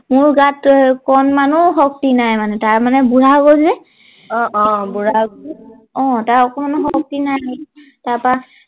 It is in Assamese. মোৰ গাত কণ মানো শক্তি নাই মানে তাৰ মানে বুঢ়া হৈ গল যে অ অ বুঢ়া অ তাৰ অকমানো শক্তি নাই তাৰ পৰা